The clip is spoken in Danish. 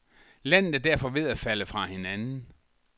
Landet er derfor ved at falde fra hinanden.